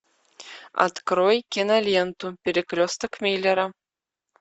открой киноленту перекресток миллера